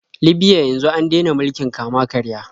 Libya yanzu an dena mulkin kama-karya.